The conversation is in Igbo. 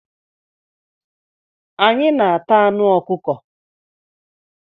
Anyị na-ata anụ ọkụkọ.